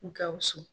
Gawusu